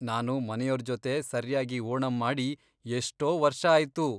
ನಾನು ಮನೆಯೋರ್ಜೊತೆ ಸರ್ಯಾಗಿ ಓಣಂ ಮಾಡಿ ಎಷ್ಟೋ ವರ್ಷ ಆಯ್ತು.